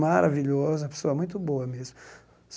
maravilhoso, uma pessoa muito boa mesmo.